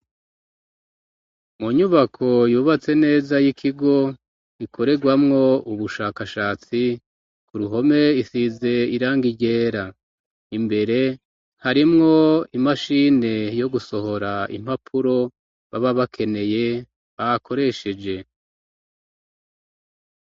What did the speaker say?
Mu nyubako yubatse neza y'ikigo ikoregwamwo ubushakashatsi ku ruhome isize irangi ryera imbere harimwo imashini yo gusohora impapuro baba bakeneye bakoresheje.